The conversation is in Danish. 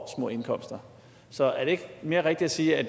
små indkomster så er det ikke mere rigtigt at sige at